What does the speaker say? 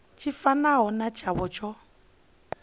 tshi fanaho na tshavho tsho